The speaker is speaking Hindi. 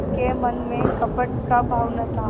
के मन में कपट का भाव न था